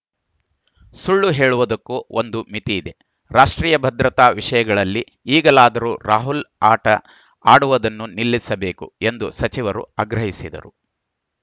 ಸುಳ್ಳು ಹೇಳುವುದಕ್ಕೂ ಒಂದು ಮಿತಿ ಇದೆ ರಾಷ್ಟ್ರೀಯ ಭದ್ರತಾ ವಿಷಯಗಳಲ್ಲಿ ಈಗಲಾದೂ ರಾಹುಲ್‌ ಆಟ ಆಡುವುದನ್ನು ನಿಲ್ಲಿಸಬೇಕು ಎಂದು ಸಚಿವರು ಆಗ್ರಹಿಸಿದರು